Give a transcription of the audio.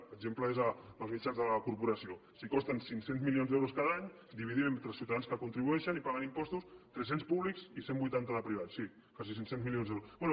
per exemple és en els mitjans de la corporació si costen cinc cents milions d’euros cada any dividim entre ciutadans que contribueixen i paguen impostos tres cents públics i cent i vuitanta de privats sí quasi cinc cents milions d’euros